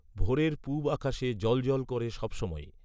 ভোরের পুবআকাশে জ্বল জ্বল করে সব সময়েই